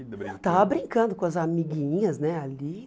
Eu estava brincando com as amiguinhas né ali.